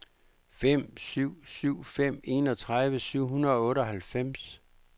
fem syv syv fem enogtredive syv hundrede og otteoghalvfems